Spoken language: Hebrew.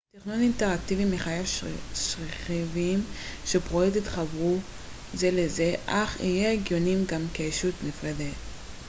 תכנון אינטראקטיבי מחייב שרכיבים של פרויקט יתחברו זה לזה אך יהיו הגיוניים גם כישות נפרדת